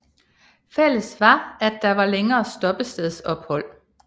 Fælles var at der var længere stoppestedsophold